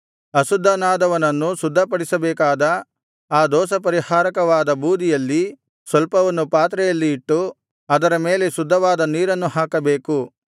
ಅಶುದ್ಧನಾದವನನ್ನು ಶುದ್ಧಪಡಿಸಬೇಕಾದರೆ ಆ ದೋಷಪರಿಹಾರಕವಾದ ಬೂದಿಯಲ್ಲಿ ಸ್ವಲ್ಪವನ್ನು ಪಾತ್ರೆಯಲ್ಲಿ ಇಟ್ಟು ಅದರ ಮೇಲೆ ಶುದ್ಧವಾದ ನೀರನ್ನು ಹಾಕಬೇಕು